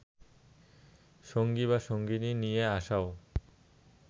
সঙ্গী বা সঙ্গিনী নিয়ে আসাও